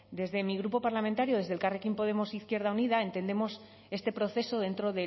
desde mi grupo parlamentario desde elkarrekin podemos e izquierda unida entendemos este proceso dentro